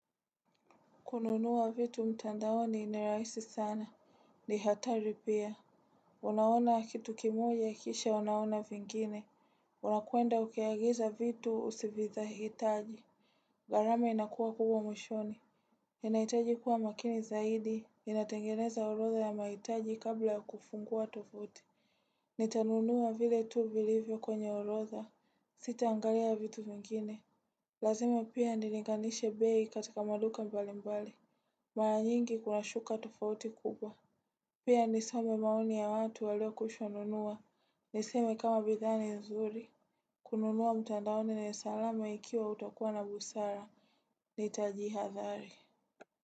Kununua vitu mtandaoni nirahisi sana. Nihatari pia. Unaona kitu kimoja kisha unaona vingine. Unakwenda ukiagiza vitu usiviza hitaji. Gharami inakuwa kubwa mwishoni. Inaitaji kuwa makini zaidi. Ninatengeneza orodha ya mahitaji kabla ya kufungua tofuti. Nitanunua vile tu vilivyo kwenye orodha. Sita angalia vitu vingine. Lazima pia nilinganishe bei katika maduka mbali mbali. Mara nyingi kuna shuka tofauti kubwa. Pia nisome maoni ya watu walio kwishanunua. Niseme kama bidhaa ni nzuri. Kununua mtandaoni ni salama ikiwa utakuwa na busara. Nitajiha dhari.